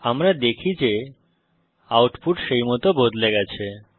আমরা দেখি যে আউটপুট সেইমত বদলে গেছে